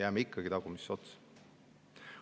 Jääme ikkagi tagumisse otsa.